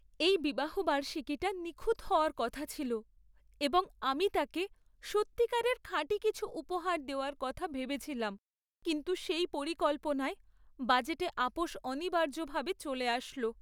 এই বিবাহবার্ষিকীটা নিখুঁত হওয়ার কথা ছিল এবং আমি তাকে সত্যিকারের খাঁটি কিছু উপহার দেওয়ার কথা ভেবেছিলাম; কিন্তু সেই পরিকল্পনায় বাজেটে আপস অনিবার্য ভাবে চলে আসল।